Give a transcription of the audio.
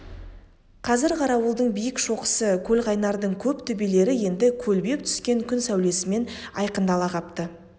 қазір қарауылдың биік шоқысы көлқайнардың көп төбелері енді көлбеп түскен күн сәулесімен айқындала қапты